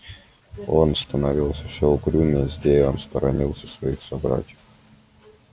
он становился все угрюмее злее он сторонился своих собратьев